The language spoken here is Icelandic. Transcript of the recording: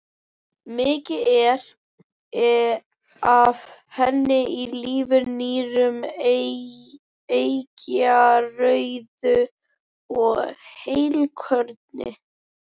Mikið er af henni í lifur, nýrum, eggjarauðu og heilkorni.